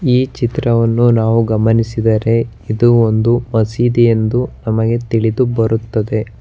ಈ ಚಿತ್ರವನ್ನು ನಾವು ಗಮನಿಸಿದರೆ ಇದು ಒಂದು ಮಸೀದಿ ಎಂದು ನಮಗೆ ತಿಳಿದುಬರುತ್ತದೆ.